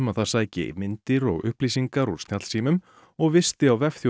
það sæki myndir og upplýsingar úr snjallsímum og visti á